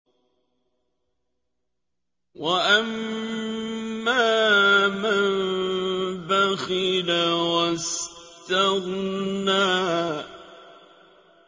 وَأَمَّا مَن بَخِلَ وَاسْتَغْنَىٰ